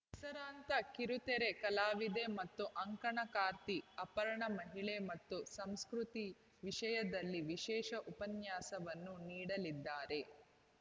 ಹೆಸರಾಂತ ಕಿರುತೆರೆ ಕಲಾವಿದೆ ಮತ್ತು ಅಂಕಣಕಾರ್ತಿ ಅಪರ್ಣ ಮಹಿಳೆ ಮತ್ತು ಸಂಸ್ಕೃತಿ ವಿಷಯದಲ್ಲಿ ವಿಶೇಷ ಉಪನ್ಯಾಸವನ್ನು ನೀಡಲಿದ್ದಾರೆ